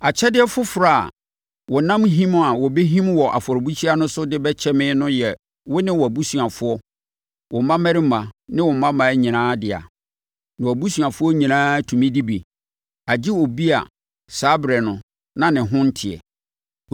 “Akyɛdeɛ afoforɔ a wɔnam him a wɔbɛhim wɔ afɔrebukyia no so de bɛkyɛ me no yɛ wo ne wʼabusuafoɔ, wo mmammarima ne wo mmammaa nyinaa dea. Na wʼabusuafoɔ nyinaa tumi di bi, agye obi a saa ɛberɛ no na ne ho nte.